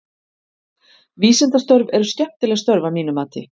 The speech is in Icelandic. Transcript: Vísindastörf eru skemmtileg störf að mínu mati.